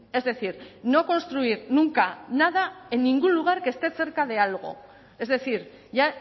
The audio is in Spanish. es decir no construir nunca nada en ningún lugar que esté cerca de algo es decir ya